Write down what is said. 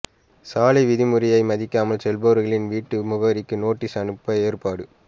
சாலை விதிமுறையை மதிக்காமல் செல்பவர்களின் வீட்டு முகவரிக்கு நோட்டீஸ் அனுப்ப ஏற்பாடு